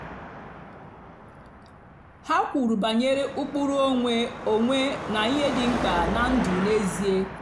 ha kwùrù bànyèrè ụ́kpụ́rụ́ onwé onwé na ihe dị́ mkpá ná ndụ́ n'ézìè.